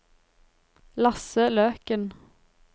Lasse Løken